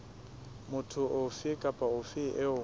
motho ofe kapa ofe eo